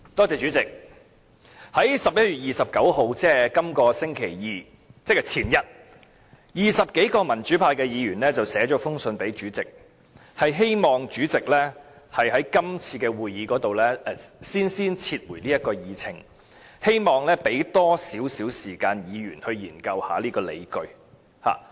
主席，在11月29日，即這個星期二，也就是前天 ，20 多名民主派議員去信主席，希望主席在今次會議先撤回這項議案，讓議員有更多時間研究當中的理據。